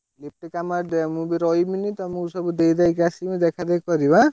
ମୁଁ ବି ରହିବିନି ତମକୁ ସବୁ ଦେଇଦାଇ କି ଆସିବି ଦେଖା ଦେଖି କରିବ ଆଁ?